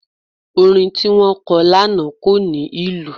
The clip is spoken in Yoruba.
Orin tí wọ́n kọ lánàá kò ní ìlù.